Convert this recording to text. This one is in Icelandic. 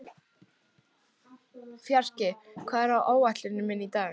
Fjarki, hvað er á áætluninni minni í dag?